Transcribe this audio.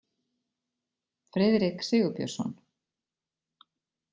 Friðrik Sigurbjörnsson.